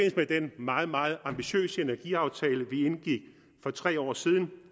meget meget ambitiøse energiaftale vi indgik for tre år siden